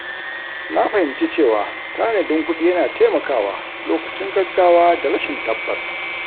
Na fahimci cewa tanadin kuɗi yana taimakawa lokacin gaggawa da rashin tabbas.